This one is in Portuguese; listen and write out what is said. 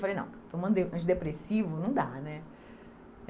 Falei, não, tomando de antidepressivo, não dá, né?